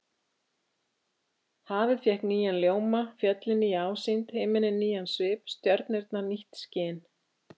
Hafið fékk nýjan ljóma, fjöllin nýja ásýnd, himinninn nýjan svip, stjörnurnar nýtt skin.